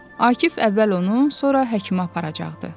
Akif əvvəl onu, sonra Həkimə aparacaqdı.